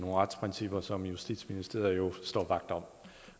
retsprincipper som justitsministeriet jo står vagt om